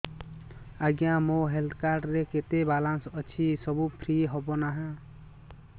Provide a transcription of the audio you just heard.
ଆଜ୍ଞା ମୋ health card ରେ କେତେ ବାଲାନ୍ସ ଅଛି ସବୁ ଫ୍ରି ହବ ନାଁ